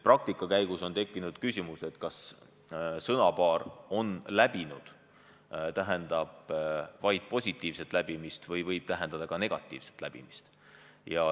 Praktika käigus on tekkinud ka küsimus, kas sõnapaar "on läbinud" tähendab vaid positiivset läbimist või võib see tähendada ka negatiivset läbimist.